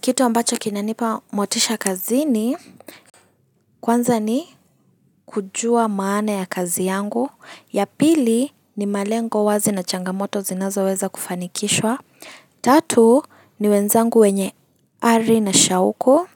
Kitu ambacho kinanipa motisha kazini, kwanza ni kujua maana ya kazi yangu, ya pili ni malengo wazi na changamoto zinazoweza kufanikishwa, tatu ni wenzangu wenye ari na shauku,